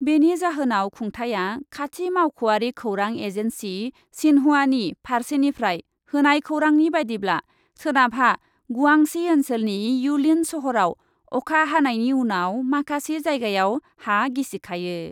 बेनि जाहोनाव खुंथाया खाथि मावख'यारि खौरां एजेन्सि शिन्हुआनि फारसेनिफ्राय होनाय खौरांनि बायदिब्ला , सोनाबहा गुआंशी ओन्सोलनि युलिन सहराव अखा हानायनि उनाव माखासे जायगायाव हा गिसिखायो ।